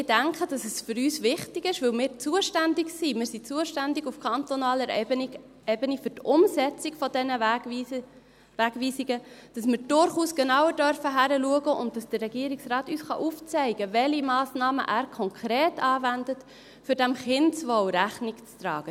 Ich denke, weil wir zuständig sind – wir sind zuständig auf kantonaler Ebene für die Umsetzung dieser Wegweisungen –, ist es für uns wichtig, dass wir durchaus genauer hinschauen dürfen, und dass der Regierungsrat uns aufzeigen kann, welche Massnahmen er konkret anwendet, um diesem Kindeswohl Rechnung zu tragen.